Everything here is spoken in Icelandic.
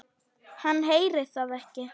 Hann heyrir það ekki.